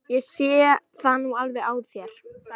Ég sé það nú alveg á þér!